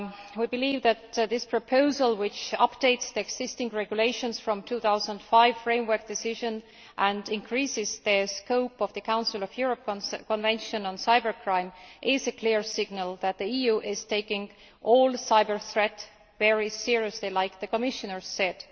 We believe that this proposal, which updates the existing regulations under the 2005 Framework Decision and increases the scope of the Council of Europe Convention on Cybercrime, is a clear signal that the EU is taking all cyber threats very seriously, as the Commissioner said.